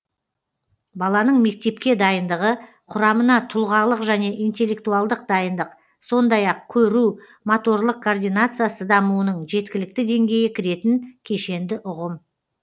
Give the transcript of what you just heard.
баланың мектепке дайындығы кұрамына тұлғалық және интеллектуалдық дайындық сондай ақ көру моторлық координациясы дамуының жеткілікті деңгейі кіретін кешенді ұғым